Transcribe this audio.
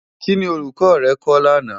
Kini Òlúkò rè kò làná?